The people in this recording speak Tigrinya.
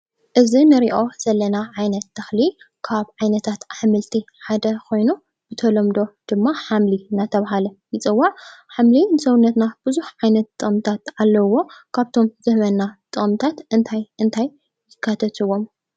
እዚ እንርእዮ ዘለና ዓይነት ተክሊ ካብ ዓይነታት ኣሕምልቲ ሓደ ኾይኑ ብተሎምዶ ድማ ሓምሊ እናተብሃለ ይጽዋዕ። ሓምሊ ንሰውነትና ብዙሕ ዓይነት ጥቅምታት ኣለዉዎ። ካብቶም ዝህበና ጥቅምታት እንታይ እንታይ የካትትውም?